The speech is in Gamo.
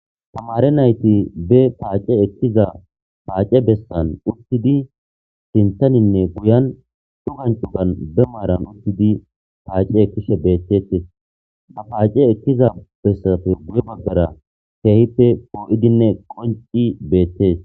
tamare nayti be paace ekkiza paace bessan uttidi sintaninne guyan dugancudan bemaaran uttidi paace ekishe beettetes a paace ekkiza bessafe buye baggara keehippe poo7idinne qonci beettes